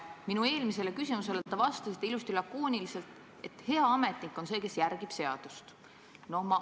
Minu eelmisele küsimusele te vastasite ilusasti lakooniliselt, et hea ametnik on see, kes järgib seadust.